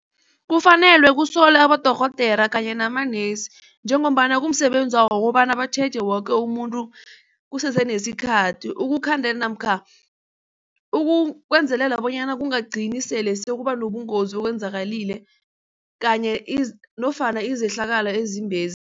Kufanelwe kusolwa abodorhodera kanye namanesi njengombana kumsebenzawo batjheje woke umuntu kusesenesikhathi ukukhandela namkha ukwenzelela bonyana kungagcini sele kubanobungozi obenzakalile kanye nofana izehlakalo ezimbezi.